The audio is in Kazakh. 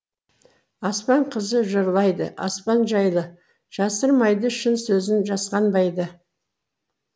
аспан қызы жырлайды аспан жайлы жасырмайды шын сөзін жасқанбайды